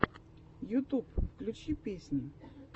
ютуб включи песни